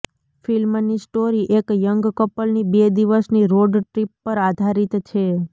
ફિલ્મની સ્ટોરી એક યંગ કપલની બે દિવસની રોડ ટ્રિપ પર આધારિત છે